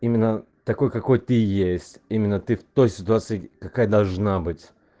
именно такой какой ты есть именно ты в той ситуации какая должна быть